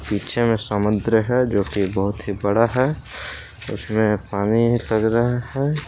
पीछे में समुद्र है जोकि बहुत ही बड़ा है उसमें पानी रहा है।